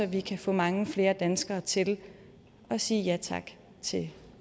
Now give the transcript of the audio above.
vi kan få mange flere danskere til at sige ja tak til